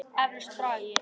Eflaust braggi.